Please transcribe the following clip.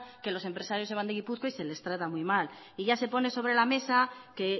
que los empresarios se van de gipuzkoa y se les trata muy mal y ya se pone sobre la mesa que